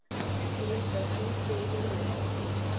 Sigdór, hringdu í Liljurósu.